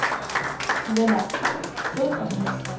Lennart Bødker